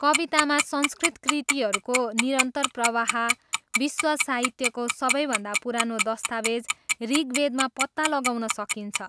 कवितामा संस्कृत कृतिहरूको निरन्तर प्रवाह विश्व साहित्यको सबैभन्दा पुरानो दस्तावेज ऋग्वेदमा पत्ता लगाउन सकिन्छ।